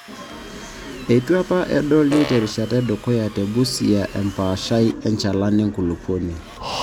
Eitu apa edoli terishata edukuya te Busia empaashai enchalan enkulupuoni.